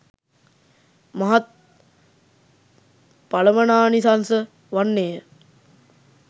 මහත් ඵලමනානිසංස වන්නේ ය.